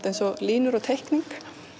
eins og línur á teikningu